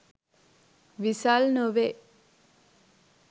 විසල් නොවේ.